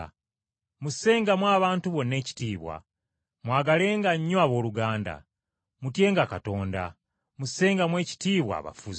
Mussengamu abantu bonna ekitiibwa, mwagalenga nnyo abooluganda. Mutyenga Katonda. Mussengamu ekitiibwa abafuzi.